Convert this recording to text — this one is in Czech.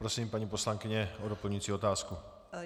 Prosím, paní poslankyně, o doplňující otázku.